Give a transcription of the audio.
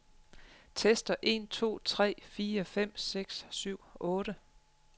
Tester en to tre fire fem seks syv otte.